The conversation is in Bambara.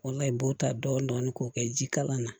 O la i b'o ta dɔɔni dɔɔni k'o kɛ ji kala na